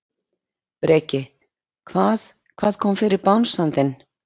Breki: Hvað, hvað kom fyrir bangsann þinn?